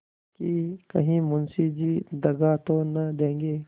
कि कहीं मुंशी जी दगा तो न देंगे